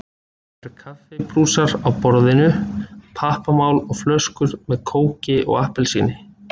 Það eru kaffibrúsar á borðinu, pappamál og flöskur með kóki og appelsíni.